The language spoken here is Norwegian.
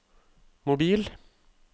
mobil